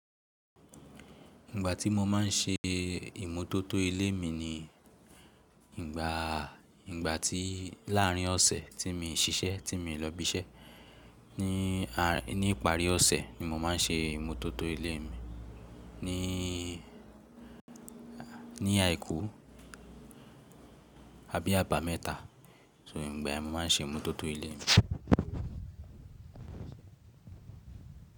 Ìgbà tí mo má n ṣe ìmótótó ilé mi ni ìgbà, ìgbà tí láàrin ọ̀sẹ̀ tí mi n ṣiṣẹ́, tí mi n lọ ibi iṣẹ́. Ni, ní ìparí ọ̀sẹ̀ ni mo má n ṣe ìmótótó ilé mi. Ní, ní àìkú abí abá mẹ́ta. So ìgbà ni mo má n ṣe ìmótótó ilé mi.